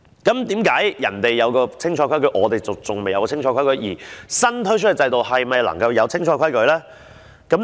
為何人家有清楚的規矩，我們還未有，而新推出的制度又是否能夠有清楚的規矩呢？